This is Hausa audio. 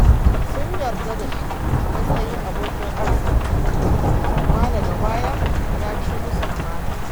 Sun yarda da shi a matsayin abokin arziki, amma daga baya ya ci musu amana.